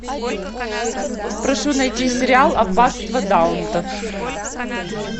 прошу найти сериал аббатство даунтон